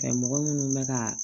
Ɛɛ mɔgɔ minnu bɛ ka